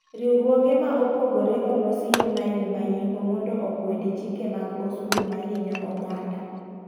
Riwruoge ma opogore olosi yo Nile ma Yimbo mondo okwedi chike mag osuru ma hinyo oganda.